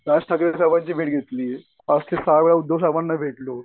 राज ठाकरे साहेबांची भेट घेतली. पाच ते सहा वेळा उद्धव साहेबांना भेटलो.